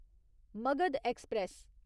Magadh express